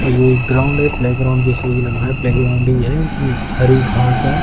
और ये एक ग्राउंड है प्ले ग्राउंड जैसा ही लग रहा है प्ले ग्राउंड ही है हरी घास है।